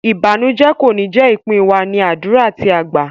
Ìbànújẹ kò ní jé ìpín wa, ní àdúrà tí a gbá.